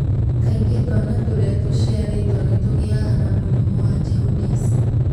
Kaingĩ twana tũrĩa tũciarĩtwo nĩ tũgĩaga na mũrimũ wa jaundice,